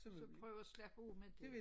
Så prøv at slappe af med det